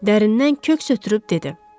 Dərindən köks ötürüb dedi.